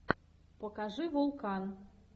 покажи вулкан